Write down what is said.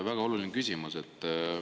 Väga oluline küsimus.